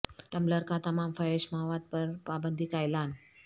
tumbler کا تمام فحش مواد پر پابندی کا اعلان